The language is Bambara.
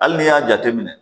Hali n'i y'a jateminɛ